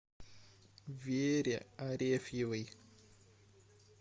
вере арефьевой